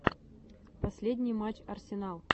последний матч арсенал